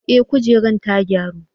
Eh, kujerar ta gyaru.